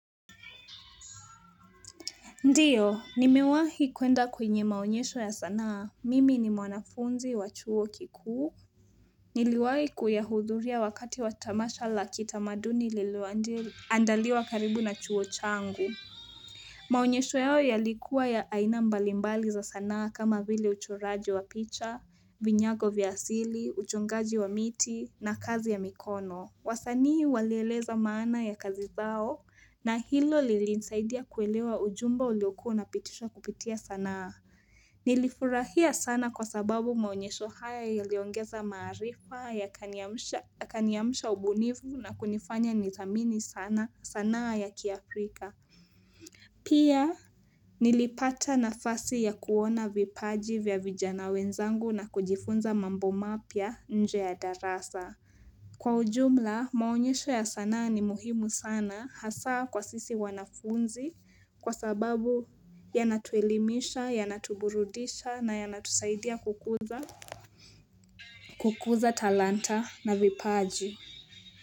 Ndio, nimewahi kwenda kwenye maonyesho ya sanaa, mimi ni mwanafunzi wa chuo kikuu. Niliwahi kuyahudhuria wakati wa tamasha la kitamaduni liloandaliwa karibu na chuo changu. Maonyesho yao yalikuwa ya aina mbalimbali za sanaa kama vile uchoraji wa picha, vinyago vya asili, uchongaji wa miti na kazi ya mikono. Wasanii walieleza maana ya kazi zao na hilo lilinisaidia kuelewa ujumbe uliokuwa unapitishwa kupitia sanaa. Nilifurahia sana kwa sababu maonyesho haya yaliongeza maarifa yakaniamsha ubunifu na kunifanya niziamini sana sanaa za kiafrika. Pia nilipata nafasi ya kuona vipaji vya vijana wenzangu na kujifunza mambo mapya nje ya darasa. Kwa ujumla maonyesho ya sanaa ni muhimu sana hasa kwa sisi wanafunzi kwa sababu yanatuelimisha, yanatuburudisha na yanatusaidia kukuza. Kukuza talanta na vipaji.